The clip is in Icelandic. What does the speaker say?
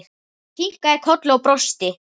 Ég kinkaði kolli og brosti.